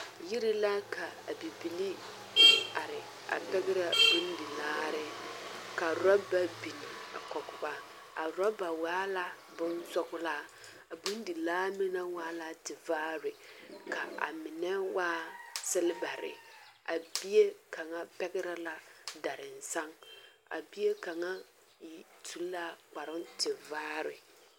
Yiri la ka a bibilii are a pɛɡrɛ bondilaare ka rɔba biŋ a kɔɡe ba a rɔba waa la bonsɔɡelaa a bondilaa meŋ waa la tevaare ka a mine waa selebare a bie kaŋa pɛɡrɛ la daransaŋ a bie kaŋa su kparoo tevaare.